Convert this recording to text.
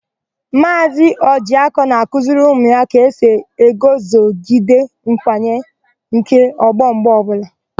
Maazị Ọjịakọ na-akuziri ụmụ ya ka esi eguzogide nkwanye nke ọgbọ mgbe ọbụla.